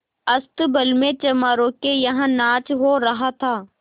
अस्तबल में चमारों के यहाँ नाच हो रहा था